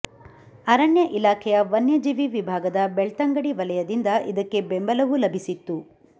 ಅರಣ್ಯ ಇಲಾಖೆಯ ವನ್ಯಜೀವಿ ವಿಭಾಗದ ಬೆಳ್ತಂಗಡಿ ವಲಯದಿಂದ ಇದಕ್ಕೆ ಬೆಂಬಲವೂ ಲಭಿಸಿತ್ತು